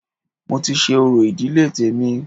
Mo ti ṣe orò ìdílé tèmi